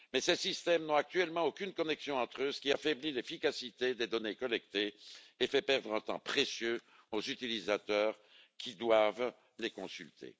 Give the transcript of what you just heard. Mais ces systèmes n'ont actuellement aucune connexion entre eux, ce qui affaiblit l'efficacité des données collectées et fait perdre un temps précieux aux utilisateurs qui doivent les consulter.